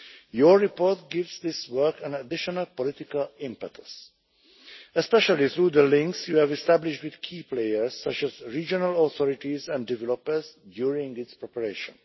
Your report gives this work an additional political impetus, especially through the links you have established with key players, such as regional authorities and developers, during its preparation.